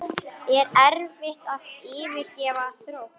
Er erfitt að yfirgefa Þrótt?